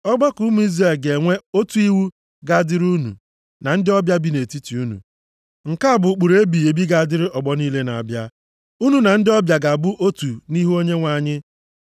Ọgbakọ ụmụ Izrel ga-enwe otu iwu ga-adịrị unu na ndị ọbịa bi nʼetiti unu. Nke a bụ ụkpụrụ ebighị ebi ga-adịrị ọgbọ niile na-abịa. Unu na ndị ọbịa ga-abụ otu nʼihu Onyenwe anyị.